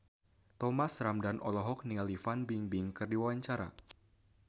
Thomas Ramdhan olohok ningali Fan Bingbing keur diwawancara